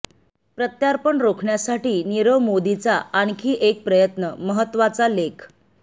प्रत्यार्पण रोखण्यासाठी नीरव मोदीचा आणखी एक प्रयत्न महत्तवाचा लेख